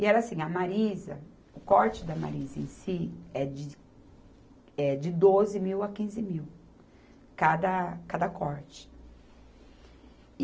E era assim, a Marisa, o corte da Marisa em si é de, é de doze mil a quinze mil, cada, cada corte. E